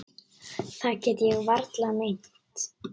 Það get ég varla meint.